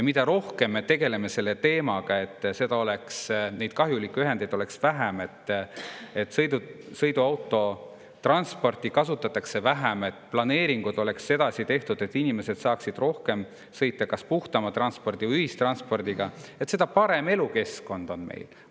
Mida rohkem me tegeleme selle teemaga, et neid kahjulikke ühendeid oleks vähem, et sõiduautosid kasutataks vähem, et planeeringud oleksid sedasi tehtud, et inimesed saaksid rohkem sõita kas puhtama liiklusvahendiga või ühissõidukiga, seda parem elukeskkond meil on.